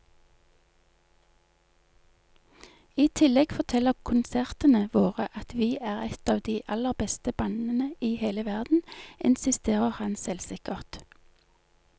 I tillegg forteller konsertene våre at vi er et av de aller beste bandene i hele verden, insisterer han selvsikkert.